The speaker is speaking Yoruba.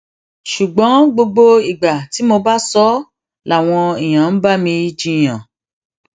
ṣùgbọn gbogbo ìgbà tí mo bá sọ ọ làwọn èèyàn ń bá mi jiyàn